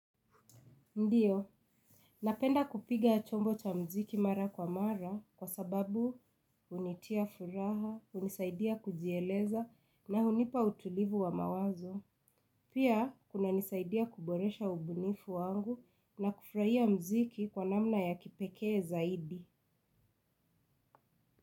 Ndiyo, napenda kupiga chombo cha mziki mara kwa mara kwa sababu hunitia furaha, hunisaidia kujieleza na hunipa utulivu wa mawazo. Pia, kuna nisaidia kuboresha ubunifu wangu na kufuraia mziki kwa namna ya kipekee zaidi.